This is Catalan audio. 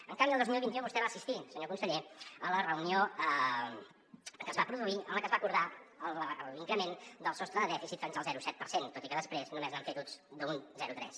en canvi el dos mil vint u vostè va assistir senyor conseller a la reunió que es va produir en la que es va acordar l’increment del sostre de dèficit fins al zero coma set per cent tot i que des·prés només n’han fet ús d’un zero coma tres